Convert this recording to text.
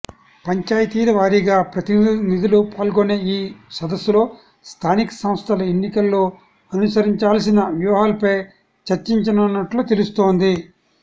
పంచాయితీల వారీగా ప్రతినిధులు పాల్గొనే ఈ సదస్సలో స్థానిక సంస్థల ఎన్నికల్లో అనుసరించాల్సిన వ్యూహాలపై చర్చించనున్నట్లు తెలుస్తోంది